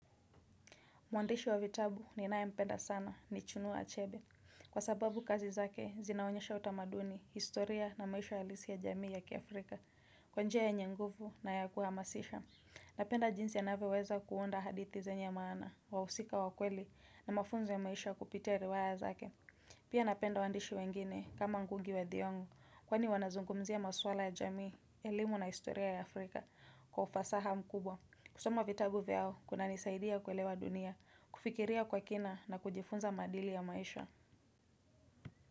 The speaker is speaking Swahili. Mwandishi wa vitabu ni ninayempenda sana, ni chunua achebe. Kwa sababu kazi zake, zinaonyesha utamaduni, historia na maisha halisi ya jamii ya kiafrika. Kwa njia yenye nguvu na ya kuhamasisha. Napenda jinsi anavyoweza kuunda hadithi zenye maana, wahusika wakweli, na mafunzo ya maisha kupitia riwaya zake. Pia napenda waandishi wengine, kama ngugi wa thiong'o, kwani wanazungumzia maswala ya jamii, elimu na historia ya Afrika, kwa ufasaha mkubwa. Kusoma vitabu vyao, kunanisaidia kuelewa dunia, kufikiria kwa kina na kujifunza maadili ya maisha.